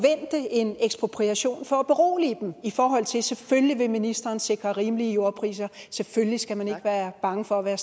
en ekspropriation for at berolige dem i forhold til at selvfølgelig vil ministeren sikre rimelige jordpriser selvfølgelig skal man ikke være bange for at